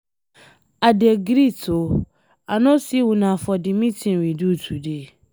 I dey greet oo, I no see una for the meeting we do today.